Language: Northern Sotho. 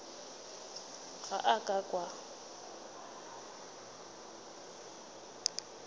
ga a ka a kwa